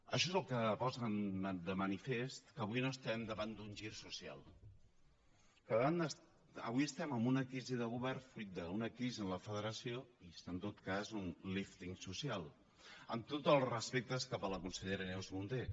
això és el que posa de manifest que avui no estem davant d’un gir social que avui estem en una crisi de govern fruit d’una crisi en la federació i es fa en tot cas un lífting social amb tots els respectes cap a la consellera neus munté